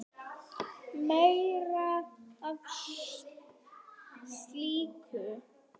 Meira af slíku!